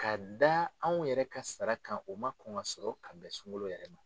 Ka da anw yɛrɛ ka sara kan o ma kɔn ka sɔrɔ ka bɛn sunkolo yɛrɛ ma.